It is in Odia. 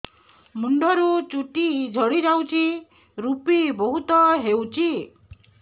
ମୁଣ୍ଡରୁ ଚୁଟି ଝଡି ଯାଉଛି ଋପି ବହୁତ ହେଉଛି